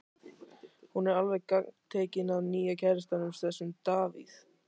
Hún er alveg gagntekin af nýja kærastanum, þessum Davíð.